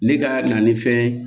Ne ka na ni fɛn ye